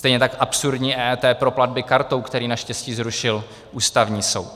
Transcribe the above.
Stejně tak absurdní EET pro platby kartou, které naštěstí zrušil Ústavní soud.